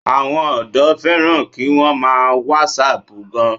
Àwọn ọ̀dọ́ fẹ́ràn kí wọ́n má a wàsáàpù gan